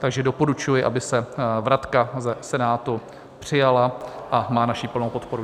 Takže doporučuji, aby se vratka ze Senátu přijala, a má naši plnou podporu.